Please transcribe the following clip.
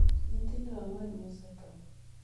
Nyithindo ang'wen mosetho